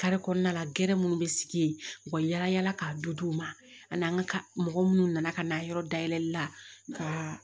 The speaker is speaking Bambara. Kari kɔnɔna la gɛrɛ minnu bɛ sigi yen u ka yala yala ka du d'u ma ani an ka mɔgɔ minnu nana ka na yɔrɔ dayɛlɛli la ka